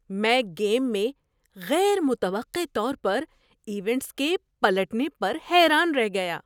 میں گیم میں غیر متوقع طور پر ایونٹس کے پلٹنے پر حیران رہ گیا۔